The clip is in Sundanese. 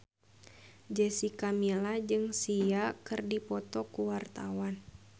Jessica Milla jeung Sia keur dipoto ku wartawan